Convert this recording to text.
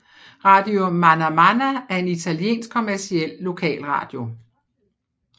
Radio Manà Manà er en italiensk kommerciel lokalradio